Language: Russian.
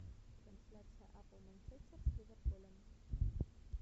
трансляция апл манчестер с ливерпулем